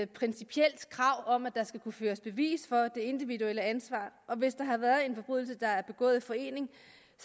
principielt krav om at der skal kunne føres bevis for det individuelle ansvar og hvis der har været en forbrydelse der er begået i forening